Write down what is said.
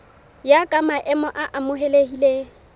ya ka maemo a amohelehileng